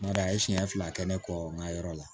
N bari a ye siɲɛ fila kɛ ne kɔ n ka yɔrɔ la